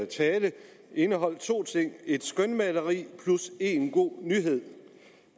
tale indeholdt to ting et skønmaleri plus en god nyhed